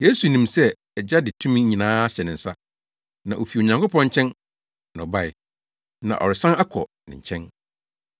Yesu nim sɛ nʼAgya de tumi nyinaa ahyɛ ne nsa, na ofi Onyankopɔn nkyɛn na ɔbae, na ɔresan akɔ ne nkyɛn.